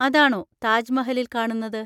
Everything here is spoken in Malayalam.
അതാണോ താജ്മഹലിൽ കാണുന്നത്?